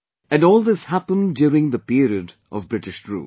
And this all happened during the period of British rule